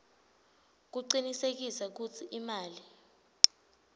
kucinisekisa kutsi imali